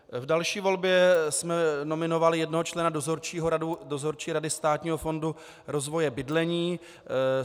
V další volbě jsme nominovali jednoho člena Dozorčí rady Státního fondu rozvoje bydlení.